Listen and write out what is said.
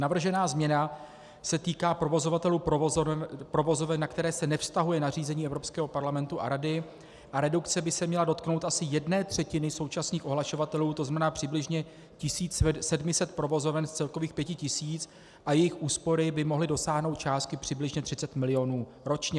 Navržená změna se týká provozovatelů provozoven, na které se nevztahuje nařízení Evropského parlamentu a Rady, a redukce by se měla dotknout asi jedné třetiny současných ohlašovatelů, to znamená přibližně 1700 provozoven z celkových 5000 a jejich úspory by mohly dosáhnout částky přibližně 30 mil. ročně.